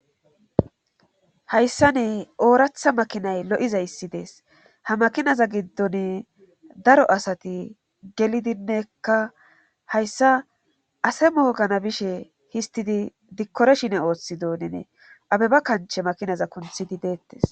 Hayssa ne ooratha makinay lo'izayssi dees ha makinaza giddon daro asati gelidinneekka hayssa ase mohogana bishe histidi dikkoreshine ooththi donene abeba kanche makinaza kunthidi deettes.